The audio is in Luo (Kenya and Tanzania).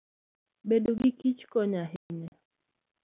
Bedo gi kich konyo ahinya.